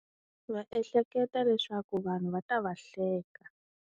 Vaehleketa leswaku vanhu va ta va hleka.